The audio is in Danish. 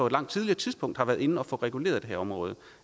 et langt tidligere tidspunkt har været inde at få reguleret det her område